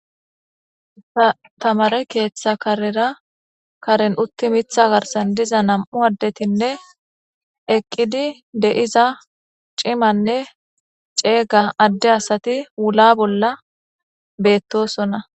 Atamare keeththa karera karen utti mitha garsan diza nam'u addetinne eqqidi de'iza cimanne ceega adde asati wula bolla beettosona.